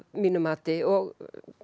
mínu mati og